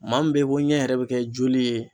Maa min bɛyi ko ɲɛ yɛrɛ bi kɛ joli ye.